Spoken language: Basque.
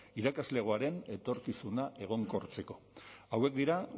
irakaslegoaren etorkizuna egonkortzeko hauek dira